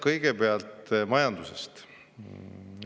Kõigepealt majandusest.